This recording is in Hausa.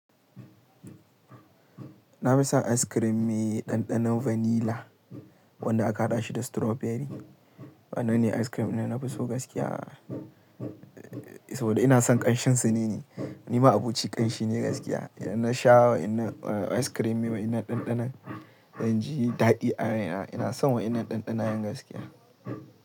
Na fi son ice cream me ɗanɗanon vanilla wanda aka haɗa shi da strawberry. Waɗannan ne ice cream ɗin da na fi so gaskiya saboda ina son ƙanshin su ne. Ni ma abuci ƙanshi ne gaskiya. Idan na sha ice cream me wa'innan ɗanɗanon, zan ji daɗi a raina. Ina son wa'innan ɗanɗanayen gaskiya.